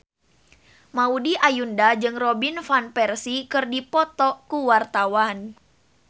Maudy Ayunda jeung Robin Van Persie keur dipoto ku wartawan